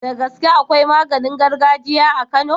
Da gaske akwai maganin gargajiya a kano